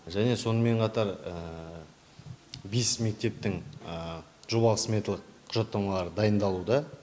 және сонымен қатар бес мектептің жобалық сметалық құжаттамалары дайындалуда